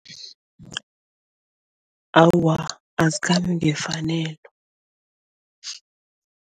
Awa, azikhambi ngefanelo.